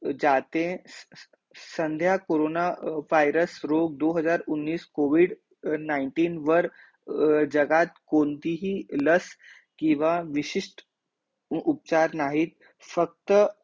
जाते संध्या corona virus रोग दो हजार उन्नीस covid nineteen अर जगात कोणतीही लस किंवा विशिष्ठ उ उपचार नाहीत फक्त